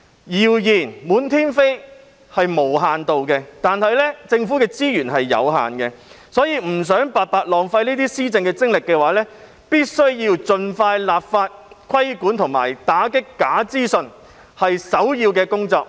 謠言滿天飛，這情況是無限度的，但政府的資源是有限的，所以，若不想白白浪費施政精力的話，政府必須盡快立法規管和打擊假資訊。這是首要的工作。